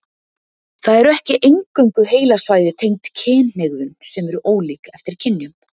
Það eru ekki eingöngu heilasvæði tengd kynhegðun sem eru ólík eftir kynjum.